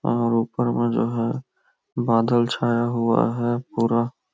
और ऊपर में जो है बादल छाया हुआ है पूरा--